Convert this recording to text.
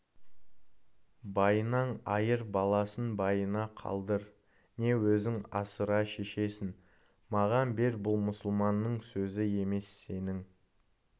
байынан айыр баласын байына қалдыр не өзің асыра шешесін маған бер бұл мұсылманның сөзі емес сенің